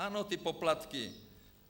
Ano, ty poplatky.